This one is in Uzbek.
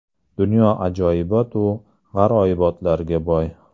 Dunyo ajoyibot-u g‘aroyibotlarga boy.